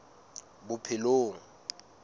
bophelong